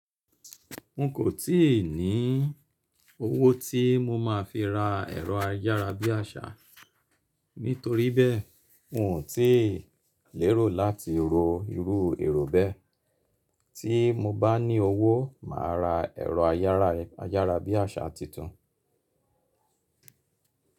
N kò tíì ní owó tí mo máa fi ra ẹ̀rọ ayára bí àṣá, nítoríbẹ̀, n ò tí lérò láti ro irú èrò bẹ́. Tí mo bá ní owó, màá ra ẹ̀rọ ayára, ayára bí àṣá titun.